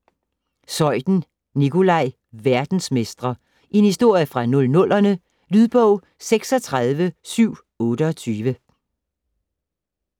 Zeuthen, Nikolaj: Verdensmestre: en historie fra 00'erne Lydbog 36728